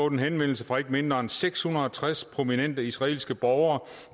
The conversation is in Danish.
en henvendelse fra ikke mindre end seks hundrede og tres prominente israelske borgere